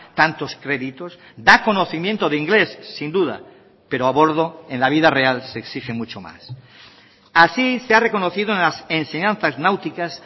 tantos créditos da conocimiento de inglés sin duda pero a bordo en la vida real se exige mucho más así se ha reconocido en las enseñanzas náuticas